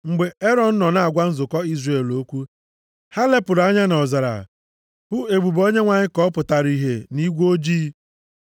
Mgbe Erọn nọ na-agwa nzukọ Izrel okwu, ha lepụrụ anya nʼọzara hụ ebube Onyenwe anyị ka ọ pụtara ihe nʼigwe ojii.